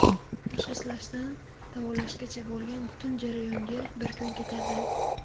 Tashxislashdan davolashgacha bo‘lgan butun jarayonga bir kun ketadi.